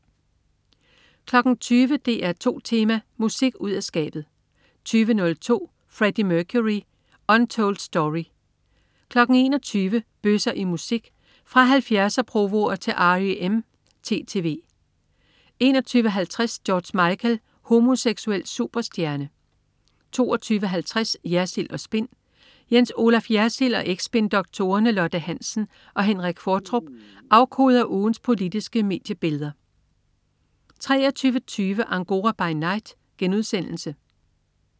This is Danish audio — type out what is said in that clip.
20.00 DR2 Tema: Musik ud af skabet 20.02 Freddie Mercury. Untold Story 21.00 Bøsser i musik fra 70'er-provoer til R.E.M. (TTV) 21.50 George Michael homoseksuel superstjerne 22.50 Jersild & Spin. Jens Olaf Jersild og eks-spindoktorerne Lotte Hansen og Henrik Qvortrup afkoder ugens politiske mediebilleder 23.20 Angora by Night*